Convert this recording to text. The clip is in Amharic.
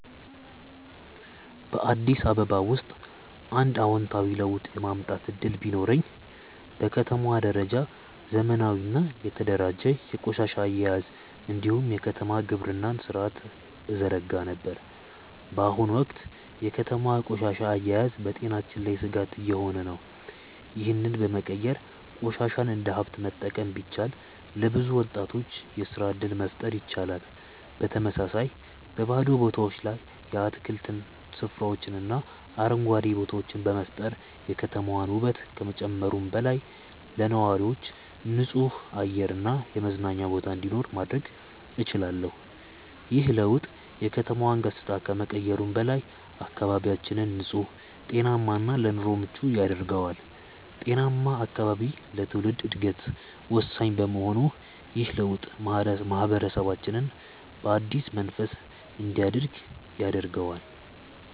በአዲስ አበባ ውስጥ አንድ አዎንታዊ ለውጥ የማምጣት እድል ቢኖረኝ፣ በከተማዋ ደረጃ ዘመናዊና የተደራጀ የቆሻሻ አያያዝ እንዲሁም የከተማ ግብርና ሥርዓትን እዘረጋ ነበር። በአሁኑ ወቅት የከተማዋ ቆሻሻ አያያዝ በጤናችን ላይ ስጋት እየሆነ ነው፤ ይህንን በመቀየር ቆሻሻን እንደ ሀብት መጠቀም ቢቻል፣ ለብዙ ወጣቶች የስራ እድል መፍጠር ይቻላል። በተመሳሳይ፣ በባዶ ቦታዎች ላይ የአትክልት ስፍራዎችንና አረንጓዴ ቦታዎችን በመፍጠር የከተማዋን ውበት ከመጨመሩም በላይ፣ ለነዋሪዎች ንጹህ አየር እና የመዝናኛ ቦታ እንዲኖር ማድረግ እችላለሁ። ይህ ለውጥ የከተማዋን ገጽታ ከመቀየሩም በላይ፣ አካባቢያችንን ንጹህ፣ ጤናማ እና ለኑሮ ምቹ ያደርገዋል። ጤናማ አካባቢ ለትውልድ ዕድገት ወሳኝ በመሆኑ ይህ ለውጥ ማህበረሰባችንን በአዲስ መንፈስ እንዲያድግ ያደርገዋል።